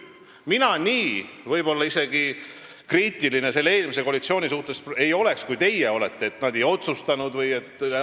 Mina võib-olla isegi ei oleks eelmise koalitsiooni suhtes nii kriitiline, kui teie olete, viidates, et nad ju ei otsustanud.